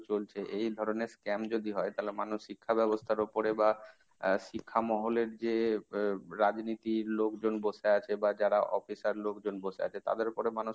চলছে এই ধরনের scam যদি হয়, তাহলে মানুষ শিক্ষা ব্যবস্থার উপরে বা আহ শিক্ষা মহলের যে রাজনীতির লোকজন বসে আছে বা যারা officer লোকজন বসে আছে তাদের উপরে মানুষ